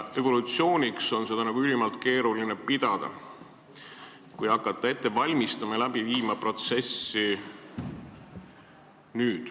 Evolutsiooniks on seda ülimalt keeruline pidada, kui hakata protsessi nüüd ette valmistama ja läbi viima.